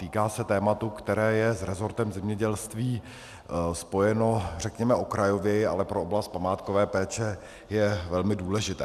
Týká se tématu, které je s rezortem zemědělství spojeno, řekněme, okrajověji, ale pro oblast památkové péče je velmi důležité.